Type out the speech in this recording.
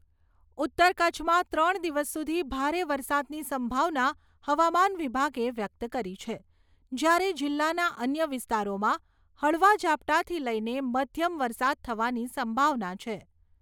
ઉતર કચ્છમાં ત્રણ દિવસ સુધી ભારે વરસાદની સંભાવના હવામાન વિભાગે વ્યક્ત કરી છે.જ્યારે જિલ્લાના અન્ય વિસ્તારોમાં હળવા ઝાપટાથી લઈને મધ્યમ વરસાદ થવાની સંભાવના છે.